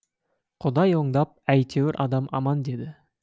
құдай оңдап әйтеуір адам аман деді